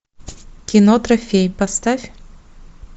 кино трофей поставь